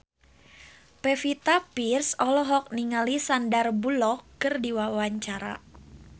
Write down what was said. Pevita Pearce olohok ningali Sandar Bullock keur diwawancara